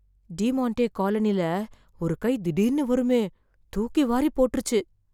Demonte colony ல ஒரு கை திடீர்னு வருமே. தூக்கி வாரிப்போட்டுச்சு